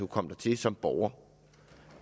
komme dertil som borger